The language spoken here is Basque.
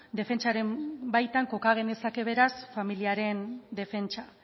defentsaren baitan koka genezake beraz familiaren defentsa